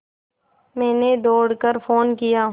मैंने दौड़ कर फ़ोन किया